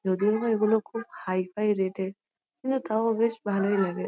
যদিওবা এগুলো খুব হাই-ফাই রেট -এর কিন্তু তাও বেশ ভালোই লাগে।